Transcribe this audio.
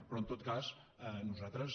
però en tot cas nosaltres